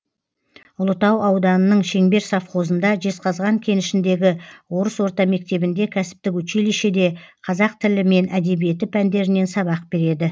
ұлытау ауданының шеңбер совхозында жезқазған кенішіндегі орыс орта мектебінде кәсіптік училищеде қазақ тілі мен әдебиеті пәндерінен сабақ береді